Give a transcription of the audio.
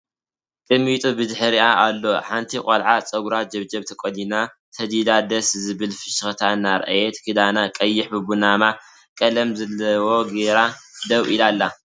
ቅሚጦ ብድሕሪኣ ኣሎ ሓንቲ ቆልዓ ፀጉራ ጀብጀብ ተቆኒና ሰዲዳ ደስ ዝብል ፍሽክታ እናርኣየት ክዳና ቀይሕ ብቡናማ ቀለም ዘለዎ ጌራ ደው ኢላ ኣላ።